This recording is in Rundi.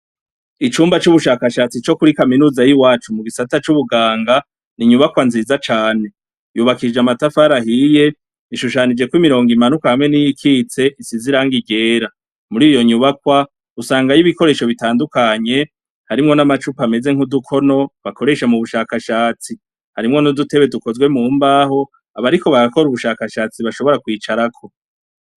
Icumba c' ubushakashatsi kuri kaminuza y'iwacu mu gisata c' ubuganga, ni inyubakwa nziza cane . Yubakishije amatafari ahiye, ishushanijeko imirongo imanuka hamwe n' iyikitse isize irangi ryera, muriyo nyubakwa, usangayo ibikoresho bitandukanye, harimwo n' amacupa ameze nk'udukono, bakoresha mu bushakashatsi, harimwo n' udutebe dukozwe mu mbaho, abariko barakora ubushakashatsi bashobora kwicarako.